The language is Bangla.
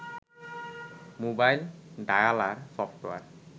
mobile dialer software